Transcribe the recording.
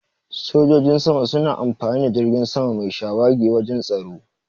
Sojojin sama suna amfani da jirgin sama mai shawagi wajan tsaro.